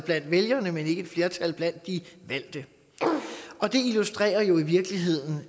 blandt vælgerne men ikke et flertal blandt de valgte det illustrerer jo i virkeligheden